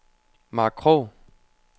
Mark Krog